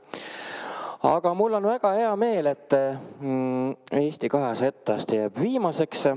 Aga mul on väga hea meel, et Eesti 200 etteaste jääb viimaseks.